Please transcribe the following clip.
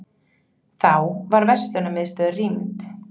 Þá var verslunarmiðstöð rýmd